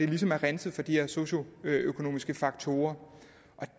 ligesom er renset for de her socioøkonomiske faktorer og